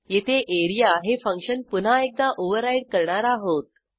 येथे एआरईए हे फंक्शन पुन्हा एकदा ओव्हरराईड करणार आहोत